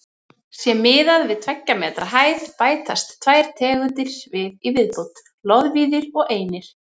Sé miðað við tveggja metra hæð bætast tvær tegundir við í viðbót: loðvíðir og einir.